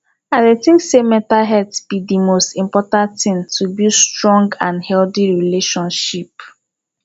i dey think say mental health be di most important thing to build strong and healthy relationship